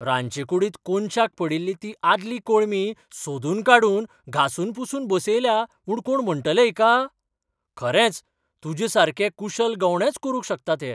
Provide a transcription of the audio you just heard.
रांदचेकूडींत कोनशाक पडिल्ली ती आदली कोळंबी सोदून काडून घासून पुसून बसयल्या म्हूण कोण म्हणटले हिका? खरेंच, तुजेसारके कुशल गवंडेच करूंक शकतात हें.